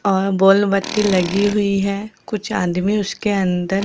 और बोल बत्ती लगी हुई है कुछ आदमी उसके अंदर--